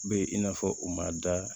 Be in n'a fɔ u ma da